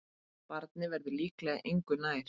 Barnið verður líklega engu nær.